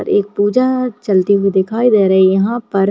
और एक पूजा चलती हुई दिखाई दे रही यहाँ पर --